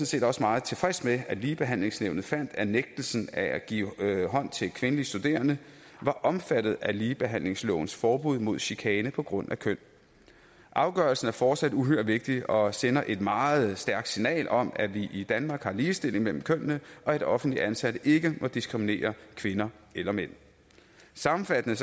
set også meget tilfreds med at ligebehandlingsnævnet fandt at nægtelsen af at give hånd til kvindelige studerende var omfattet af ligebehandlingslovens forbud mod chikane på grund af køn afgørelsen er fortsat uhyre vigtig og sender et meget stærkt signal om at vi i danmark har ligestilling mellem kønnene og at offentligt ansatte ikke må diskriminere kvinder eller mænd sammenfattende